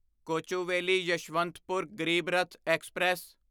Kochuveli Yesvantpur Garib Rath express